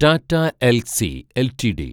Tata Elxsi LTD